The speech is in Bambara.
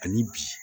Ani bi